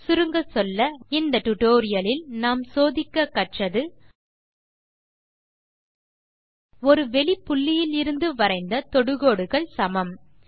சுருங்கச்சொல்ல இந்த டியூட்டோரியல் லில் நாம் சோதிக்க கற்றது ஒரு வெளிப் புள்ளியிலிருந்து வரைந்த தொடுகோடுகள் சமம்